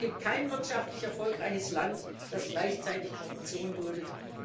Es gibt kein wirtschaftlich erfolgreiches Land, das gleichzeitig Korruption duldet.